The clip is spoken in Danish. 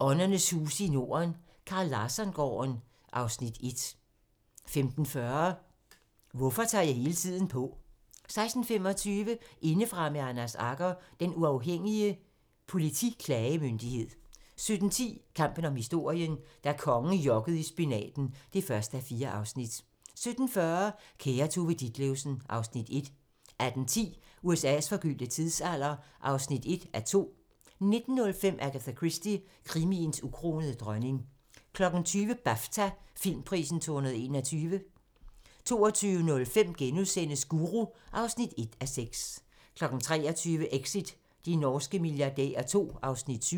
Åndernes huse i Norden - Carl Larsson-gården (Afs. 1) 15:40: Hvorfor tager jeg hele tiden på? 16:25: Indefra med Anders Agger - Den Uafhængige Politiklagemyndighed 17:10: Kampen om historien - da kongen jokkede i spinaten (1:4) 17:40: Kære Tove Ditlevsen (Afs. 1) 18:10: USA's forgyldte tidsalder (1:2) 19:05: Agatha Christie - krimiens ukronede dronning 20:00: BAFTA-filmprisen 2021 22:05: Guru (1:6)* 23:00: Exit – de norske milliardærer II (Afs. 7)